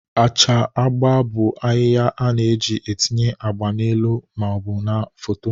Acha agba bụ ahịhịa a na-eji etinye agba n'elu ma ọ bụ na foto